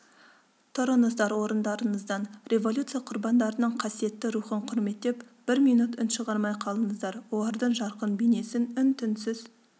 тұрыңыздар орындарыңыздан революция құрбандарының қасиетті рухын құрметтеп бір минут үн шығармай қалыңыздар олардың жарқын бейнесін үн-түнсіз